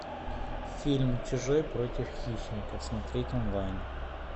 фильм чужой против хищника смотреть онлайн